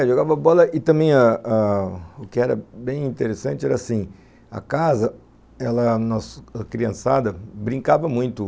É, jogava bola e também ah ah o que era bem interessante era assim, a casa, ela, a nossa criançada, brincava muito.